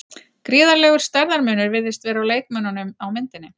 Gríðarlegur stærðarmunur virðist vera á leikmönnunum á myndinni.